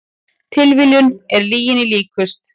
Tilviljunin er lyginni líkust